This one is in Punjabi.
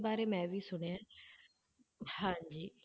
ਬਾਰੇ ਮੈਂ ਵੀ ਸੁਣਿਆ ਹੈ ਹਾਂਜੀ